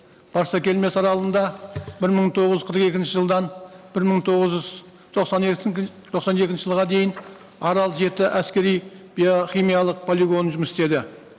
барсакелмес аралында бір мың тоғыз жүз қырық екінші жылдан бір мың тоғыз жүз тоқсан тоқсан екінші жылға дейін арал жеті әскери биохимиялық полигоны жұмыс істеді